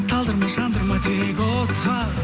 талдырма жандырма тек отқа